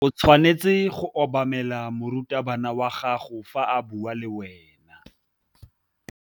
O tshwanetse go obamela morutabana wa gago fa a bua le wena.